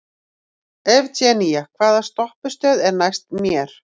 Evgenía, hvaða stoppistöð er næst mér?